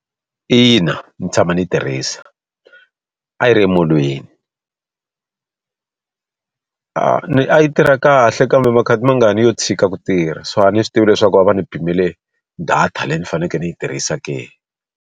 Ina ndzi tshama ndzi yi tirhisa. A yi ri emolweni. A yi tirha kahle kambe makhati mangani yo tshika ku tirha. So a ndzi swi tivi leswaku a va ni pimele data leyi ni fanele ndzi yi tirhisa ke.